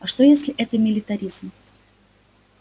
а что если это милитаризм